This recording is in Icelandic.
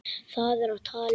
Það er á tali.